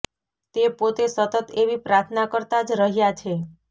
તે પોતે સતત એવી પ્રાર્થના કરતાં જ રહ્યા છે